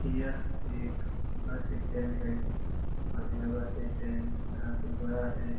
यह एक bus stand है और यह बस स्टेंड काफी बड़ा है।